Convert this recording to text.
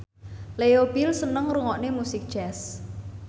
Leo Bill seneng ngrungokne musik jazz